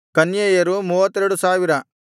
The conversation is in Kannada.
ಕನ್ಯೆಯರು 32000